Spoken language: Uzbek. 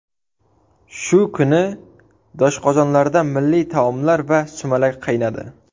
Shu kuni doshqozonlarda milliy taomlar va sumalak qaynadi.